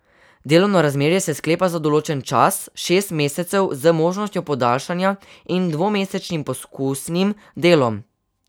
Delovno razmerje se sklepa za določen čas šest mesecev z možnostjo podaljšanja in dvomesečnim poskusnim delom.